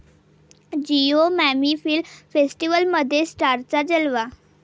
Jio MAMI film फेस्टिवलमध्ये स्टार्सचा जलवा